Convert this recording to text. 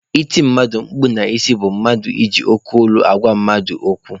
Iti mmadụ mkpu n'isi bụ mmadụ iji oke olu agwa mmadụ okwu.